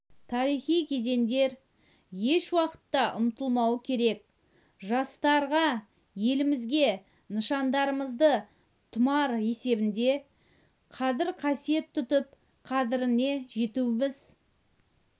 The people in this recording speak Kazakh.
тарихи кезеңдер еш уақытта ұмытылмауы керек жастарға елімізге нышандарымызды тұмар есебінде қадір-қасиет тұтып қадіріне жетуіміз